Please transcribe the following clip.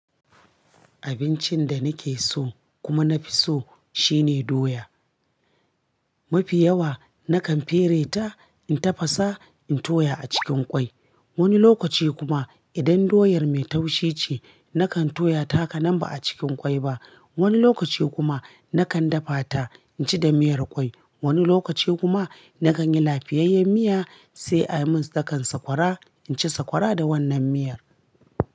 Abincin da nake so kuma na fi so shine doya. Mafi yawa nakan fere ta in tafasa in toya a cikin kwai. Wani lokaci kuma idan doyar mai taushi ce, nakan toya ta hakanam ba a cikin kwai ba. Mafi yawa nakan fere ta in tafasa in toya a cikin kwai. Wani lokaci kuma nakan yi lafiyayyen miya sai ai mun dakan sakwara, inci sakwara da wannan miyar.